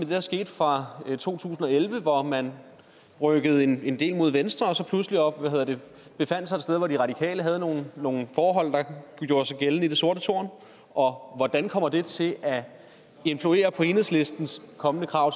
der skete fra to tusind og elleve hvor man rykkede en en del mod venstre og så pludselig befandt sig et sted hvor de radikale havde nogle nogle forhold der gjorde sig gældende i det sorte tårn og hvordan kommer det til at influere på enhedslistens kommende krav